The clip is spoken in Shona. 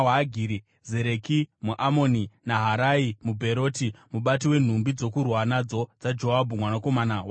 Zereki muAmoni, Naharai muBheroti, mubati wenhumbi dzokurwa nadzo dzaJoabhu mwanakomana waZeruya,